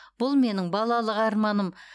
бұл менің балалық арманым